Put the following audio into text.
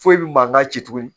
Foyi bɛ mankan ci tuguni